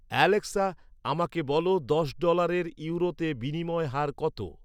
Alexa, আমাকে বলো দশ ডলারের ইউরোতে বিনিময় হার কত